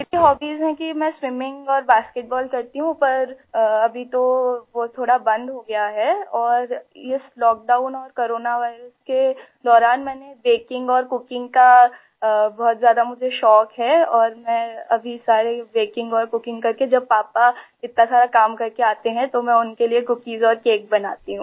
मेरी हॉबीज हैं कि मैं स्विमिंग और बास्केटबॉल करती हूँ पर अभी तो वो थोड़ा बंद हो गया है और इसlockdown और कोरोना वायरस के दौरान मैंने बेकिंग और कुकिंग का बहुत ज़्यादा मुझे शौक़ है और मैं अभी सारे बेकिंग और कुकिंग करके जब पापा इतना सारा काम करके आते हैं तो मैं उनके लिए कुकीज और केक बनाती हूँ आई